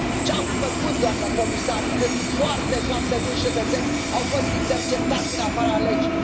Ce ați făcut, doamnă comisar, când foarte, foarte mulți cetățeni au fost interceptați în afara legii?